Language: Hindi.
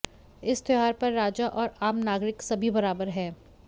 इस त्योहार पर राजा और आम नागरिक सभी बराबर हैं